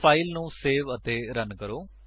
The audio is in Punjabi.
ਸੋ ਫਾਇਲ ਨੂੰ ਸੇਵ ਅਤੇ ਰਨ ਕਰੋ